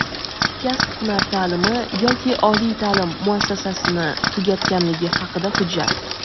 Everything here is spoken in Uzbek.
kasb-hunar ta’limi yoki oliy ta’lim muassasasini tugatganligi haqidagi hujjat;.